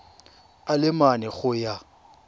a le mane go ya